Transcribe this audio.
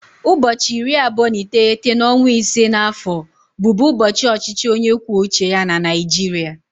Ụbọọchi iri abụọ na iteghete n'ọnwa ise na afọ bụ bụ ụbọọchi ọchịchị onye kwuo uche ya na Naịjirịa.